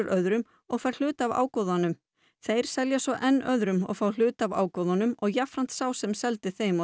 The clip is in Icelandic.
öðrum og fær hluta af ágóðanum þeir selja svo enn öðrum fá hluta af ágóðanum og jafnframt sá sem seldi þeim